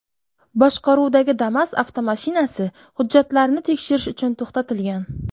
boshqaruvidagi Damas avtomashinasi hujjatlarini tekshirish uchun to‘xtatilgan.